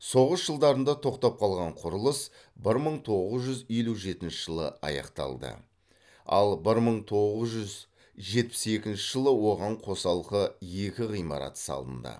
соғыс жылдарында тоқтап қалған құрылыс бір мың тоғыз жүз елу жетінші жылы аяқталды ал бір мың тоғыз жүз жетпіс екінші жылы оған қосалқы екі ғимарат салынды